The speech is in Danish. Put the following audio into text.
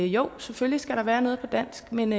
jo selvfølgelig skal der være noget på dansk men